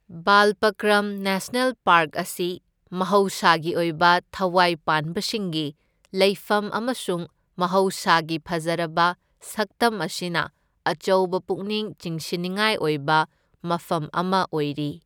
Balpakram national park ꯑꯁꯤ ꯃꯍꯧꯁꯥꯒꯤ ꯑꯣꯏꯕ ꯊꯋꯥꯏ ꯄꯥꯟꯕꯁꯤꯡꯒꯤ ꯂꯩꯐꯝ ꯑꯃꯁꯨꯡ ꯃꯍꯧꯁꯥꯒꯤ ꯐꯖꯔꯕ ꯁꯛꯇꯝ ꯑꯁꯤꯅ ꯑꯆꯧꯕ ꯄꯨꯛꯅꯤꯡ ꯆꯤꯡꯁꯤꯟꯅꯤꯡꯉꯥꯏ ꯑꯣꯏꯕ ꯃꯐꯝ ꯑꯃ ꯑꯣꯏꯔꯤ꯫